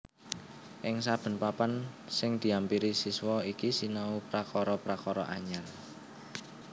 Ing saben papan sing diampiri siswa iki sinau prakara prakara anyar